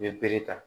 N ye bere ta